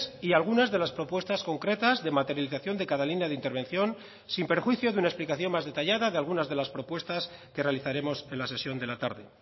y algunas de las propuestas concretas de materialización de cada línea de intervención sin perjuicio de una explicación más detallada de algunas de las propuestas que realizaremos en la sesión de la tarde